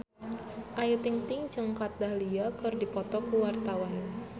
Ayu Ting-ting jeung Kat Dahlia keur dipoto ku wartawan